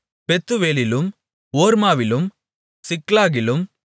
பெத்துவேலிலும் ஓர்மாவிலும் சிக்லாகிலும்